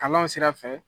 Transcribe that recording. Kalanw sira fɛ